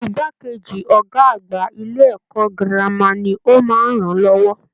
Igbákejì Ọgá àgbà ilé ẹ̀kọ́ gírámà ní o máa n rán lọwọ.